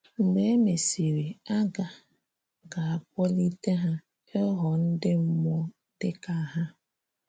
Mgbe e mesịrị, a ga ga - akpolité ha ịghọ ndị mmụọ dị ka ha.